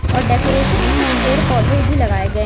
और डेकोरेशन में कुछ पेड़ पौधे भी लगाए गए--